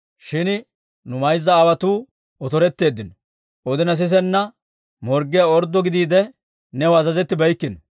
«Shin nu mayza aawotuu otoretteeddino. Odina sisenna morggiyaa orddo gidiide, new azazettibeykkino.